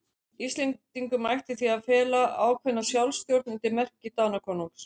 Íslendingum ætti því að fela ákveðna sjálfstjórn undir merki Danakonungs.